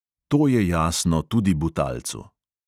To je jasno tudi butalcu.